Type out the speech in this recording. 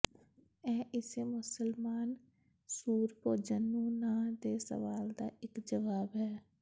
ਇਹ ਇਸੇ ਮੁਸਲਮਾਨ ਸੂਰ ਭੋਜਨ ਨੂੰ ਨਾ ਦੇ ਸਵਾਲ ਦਾ ਇੱਕ ਜਵਾਬ ਹੈ